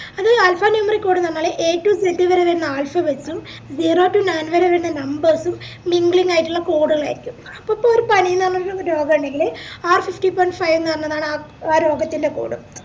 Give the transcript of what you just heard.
അത് alpha numeric code ന്ന് പറഞ്ഞാല് a to z വരെ വരുന്ന alphabets ഉം zero to nine വരെ വെരുന്ന numbers ഉം linking ആയിട്ടുള്ള code കൾ ആയിരിക്കും ഇപ്പൊ പനി ന്ന് പറഞ്ഞ ഒരുരോഗമുണ്ടെങ്കില് r sixty point five ന്നാണ് ആ രോഗത്തിൻറെ code